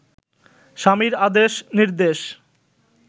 স্বামীর আদেশ নির্দেশ